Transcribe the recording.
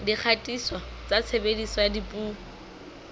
dikgatiso tsa tshebediso ya dipuo